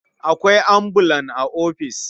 Akwai ambulan a ofis.